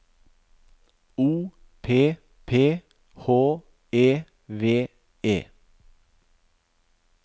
O P P H E V E